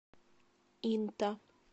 инта